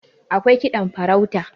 akwai kiɗan farauta